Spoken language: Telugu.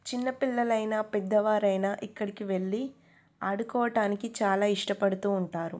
చిన్న పిల్లలైనా పెద్ద వారైనా ఇక్కడికి వెళ్ళి ఆడుకోవడానికి చాలా ఇష్టపడుతుంటారు .